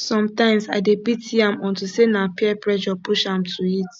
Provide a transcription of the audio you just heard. sometimes i dey pity am unto say na peer pressure push am to it